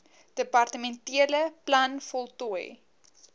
departementele plan voltooi